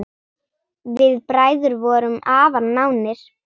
Við bræður vorum afar nánir.